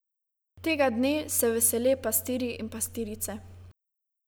Tega dne se vesele pastirji in pastirice.